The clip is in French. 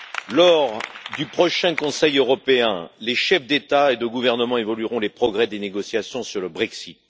Lors du prochain Conseil européen, les chefs d'État et de gouvernement évalueront les progrès des négociations sur le Brexit.